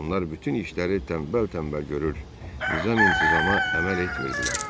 Onlar bütün işləri tənbəl-tənbəl görür, nizam-intizama əməl etmirdilər.